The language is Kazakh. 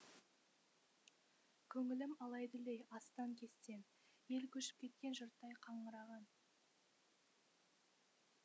көңілім алай дүлей астан кестен ел көшіп кеткен жұрттай қаңыраған